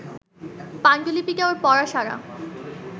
পাণ্ডুলিপিটা ওর পড়া সারা